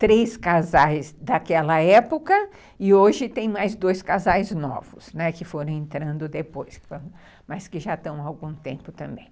três casais daquela época e hoje tem mais dois casais novos, né, que foram entrando depois, mas que já estão há algum tempo também.